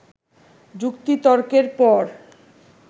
যুক্তিতর্কের পর